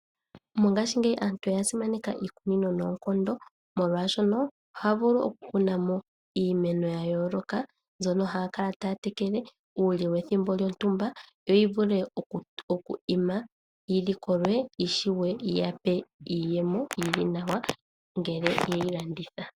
Mongashingeyi aantu oya simaneka iikunino noonkondo molwaashono, ohaya vulu oku kunamo iimeno ya yooloka mbyono haya kala taya tekele, uule wethimbo lyontumba yo yivule oku ima yilikolwe yishuwe yiyape iiyemo yili nawa ngele yeyi landitha.